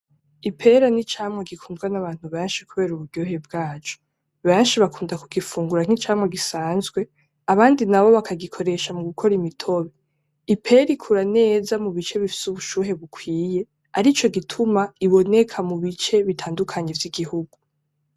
Ipera ni icamwa gikunzwe n’abantu benshi kubera uburyohe bwaco. Benshi bakunda kugifungura nk’icamwa gisanzwe, abandi nabo bakagikoresha mugukora imitobe. Ipera ikura neza mu bice bifise ubushuhe bukwiye, arico gituma riboneka mubice bitandukanye vy’igihugu.